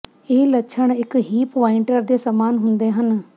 ਇਹ ਲੱਛਣ ਇੱਕ ਹੀਪ ਪੁਆਇੰਟਰ ਦੇ ਸਮਾਨ ਹੁੰਦੇ ਹਨ